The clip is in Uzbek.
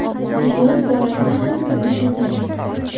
Ilyos borasida ham xuddi shunday.